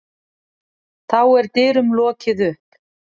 Þá er dyrum lokið upp.